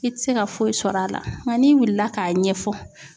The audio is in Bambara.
I tɛ se ka foyi sɔrɔ a la nka n'i wulila k'a ɲɛfɔ